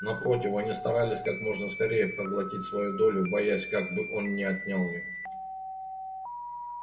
напротив они старались как можно скорее проглотить свою долю боясь как бы он не отнял её